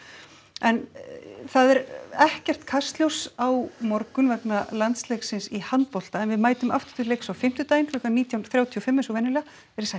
en það er ekkert Kastljós á morgun vegna í handbolta en við mætum aftur til leiks á fimmtudaginn klukkan nítján þrjátíu og fimm eins og venjulega verið sæl